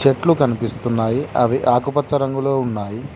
చెట్లు కనిపిస్తున్నాయి అవి ఆకుపచ్చ రంగులో ఉన్నాయి.